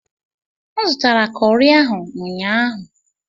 M zụtara kọri ahụ n'ụnyaahụ.